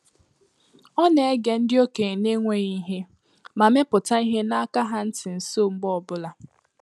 Ọ na-ege ndị okenye n’enweghị ihe, ma mepụta ihe n’aka ha ntị nso mgbe ọbụla